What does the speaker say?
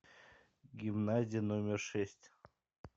гимназия номер шесть